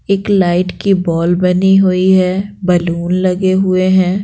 एक लाइट की बॉल बनी हुई है बैलून लगे हुए हैं ।